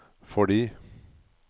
fordi